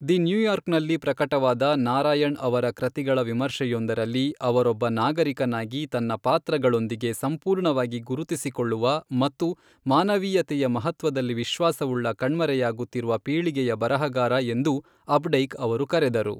The ನ್ಯೂಯಾರ್ಕರ್ನಲ್ಲಿ ಪ್ರಕಟವಾದ ನಾರಾಯಣ್ ಅವರ ಕೃತಿಗಳ ವಿಮರ್ಶೆಯೊಂದರಲ್ಲಿ, ಅವರೊಬ್ಬ ನಾಗರಿಕನಾಗಿ ತನ್ನ ಪಾತ್ರಗಳೊಂದಿಗೆ ಸಂಪೂರ್ಣವಾಗಿ ಗುರುತಿಸಿಕೊಳ್ಳುವ ಮತ್ತು ಮಾನವೀಯತೆಯ ಮಹತ್ವದಲ್ಲಿ ವಿಶ್ವಾಸವುಳ್ಳ ಕಣ್ಮರೆಯಾಗುತ್ತಿರುವ ಪೀಳಿಗೆಯ ಬರಹಗಾರ ಎಂದು ಅಪ್ಡೈಕ್ ಅವರು ಕರೆದರು.